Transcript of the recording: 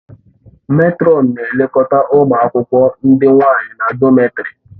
Mètrọn na-elekọta ụmụ akwụkwọ ndị nwanyị na dọmètarì